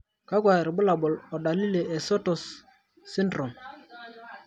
kakwa irbulabol o dalili e Sotos syndrome?